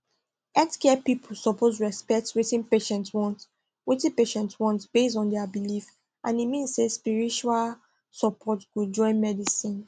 healthcare people suppose respect wetin patients want wetin patients want based on their belief and e mean say spiritual support go join medicine